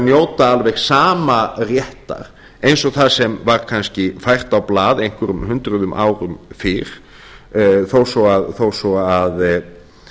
njóta alveg sama réttar eins og það sem var kannski fært á blað einhverjum hundruðum árum fyrr þó svo að